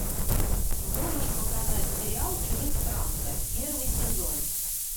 можешь показать сериал чужестранка первый сезон